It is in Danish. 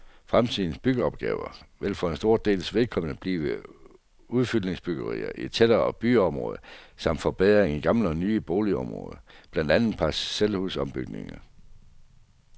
Fremtidens byggeopgaver vil for en stor dels vedkommende blive udfyldningsbyggerier i tættere byområder, samt forbedringer i gamle og nye boligområder, blandt andet parcelhusombygninger.